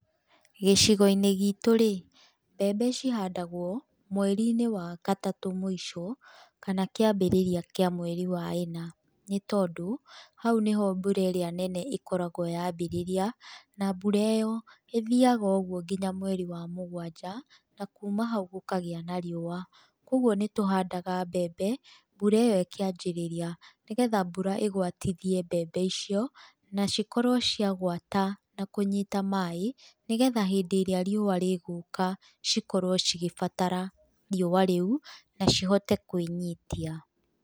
Gĩcigo-inĩ gitũ rĩ, mbembe cihandagwo mweri-inĩ wa gatatũ mũico, kana kĩambĩrĩria kĩa mweri wa ĩna, nĩ tondũ hau nĩho mbura ĩrĩa nene ĩkoragwo yambĩrĩria na mbura ĩyo ĩthiaga ũguo nginya mweri wa mũgwanja, na kuuma hau gũkagĩa na riũa, kogwo nĩ tũhandaga mbembe mbura ĩyo ĩkĩanjĩrĩria, nĩgetha mbura ĩgwatithie mbembe icio, na cikorwo cia gwata na kũnyita maĩ, nĩgetha hĩndĩ ĩrĩa riũa rĩgũka, cikorwo cigĩbatara riũa rĩu, na cihote kwĩnyitia.